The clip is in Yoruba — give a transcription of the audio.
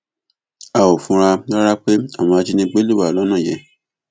a ò fura rárá pé àwọn ajínigbé lè wà lọnà yẹn